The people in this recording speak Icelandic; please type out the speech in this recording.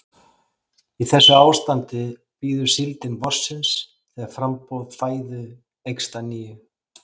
Í þessu ástandi bíður síldin vorsins þegar framboð fæðu eykst að nýju.